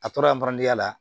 A tora ya la